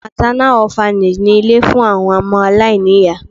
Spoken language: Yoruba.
MÁTÁNÁ Ọ́FANÈG ni ilé fún àwọn ọmọ aláìní ìyá.